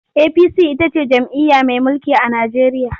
APC ita ce jam'iyya mai mulki a Najeriya.